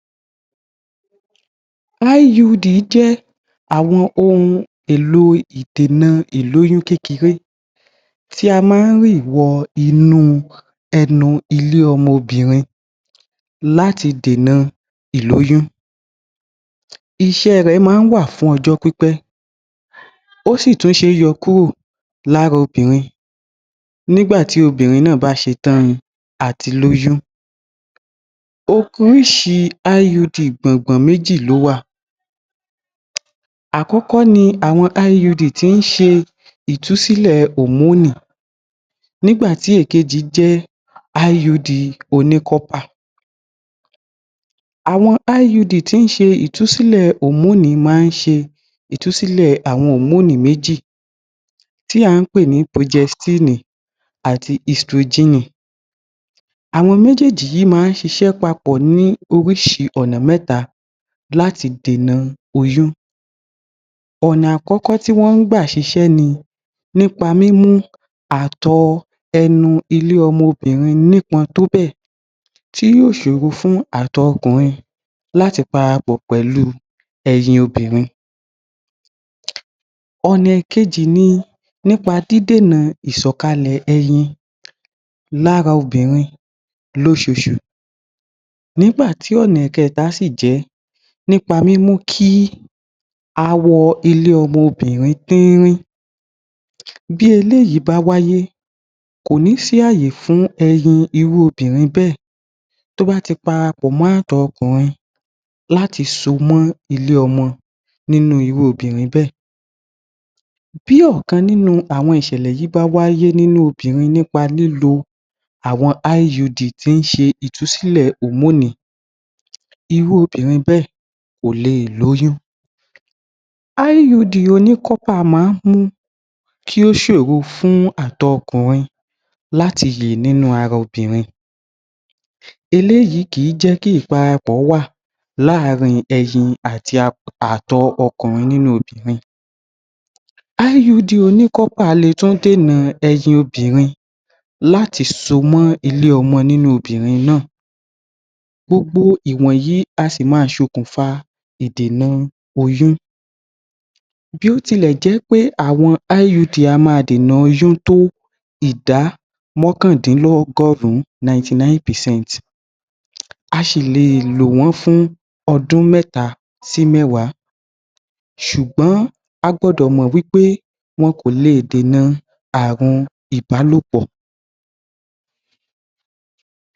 IUD jẹ́ àwọn ohun èlò ìdènà ìlóyún kẹ́kẹrẹ́ tí a má ríì bọ ẹnu ilé ọmọbìrin láti dènà ìlóyún iṣé rẹ̀ẹ̀ máa ń wáà fún ọjọ́ pípẹ́ ósì tún ṣéé yo kúrò lára obìrin nígbàtí obìrin náà bá ṣe tán àti lóyún oríșírí IUD méjì lówà àkọ́kọ́ ni àwọn IUD tí ń ṣe ìtùsílè hormoni nígbàtí èkejì jẹ́ IUD oní kọ́pà à̀wọn IUD tí ń ṣelẹ̀ hormoni má ń se ìtúsílè àwọn hormoni méjì tí à ń pè ní projẹstínì àti istojínì àwọn méjèjì yíì máa sisẹ́ papọ̀ ní oríṣìi ́ọ̀nà mẹ́ta láti dènà oyún ọ̀nà àkọ́kọ́ tí wọ́n gbáà sisẹ́ ni nípa mímú àtọ̀ọ̀ ẹnu ilé ọmobìrin nípọn tó béè tí yóò sòro fún àtọ̀ọ̀ ọkùnrin láti parapọ̀ pẹ̀lú ẹyin obìrin. ọ̀nà ẹ̀kejì ni nípa dídènà ìsòkalè ẹyin lára obìrin lósoosù nígbàtí ọ̀nà kẹ̀ta síí jẹ̀ẹ́ nípa mímú kí awọ ilé ọmọbìrin tírín. bí eléyìí bá wáyé kòní kó ní sí ayé fún ẹyin irú obìrin bẹ́ẹ̀ tó bá ti parapọ̀mọ́ àtọ̀ọ̀ ọkùnrin láti somó ilé ọmọ nínú ilé ọmọbìrin bẹ́ẹ̀.bí ọ̀kan nínú àwọn ìṣèlèyìí bá ṣẹlẹ̀ bá wáyé nípa lílo àwọn IUD tí ń se ìtúsílẹ̀ hormoni irú obìrin bẹ́ẹ̀ kòle lóyún IUD oní kópà máa mú kí ó sòro fún àtọ̀ọ̀ ọkùnrin láti yè lára obìrin eléyìí kìí jẹ́kí ìparapọ̀ ó wà láàrin ẹyin àti àtọ̀ọ̀ ọkùnrin parapọ̀ nínú obìrin. IUD oní kópà le tùn dènà eyin obìrin láti somó ilé ọmọ nínú obìrin náà gbogbo ìwọ̀nyìí a sì máa fokùn fa ìdènà oyún bí ó ti le jẹ́ pẹ́ àwọn IUD a máa dènà oyún tó ìdá mọ́kàndínlọ́ọ́gọ̀rún 99 percent a ṣìle lò wọ́n fún ọdún mẹ́ta sí mẹ́wàá sùgbón a gbọdọ̀ mò wípé ó kò le dènà ààrùn ìbálóòpọ̀.